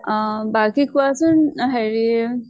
অহ বাকী কোৱাচোন অ হেৰি